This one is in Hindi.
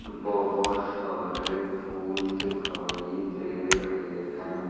बहोत सारे फूल दिखाई दे रहे हैं।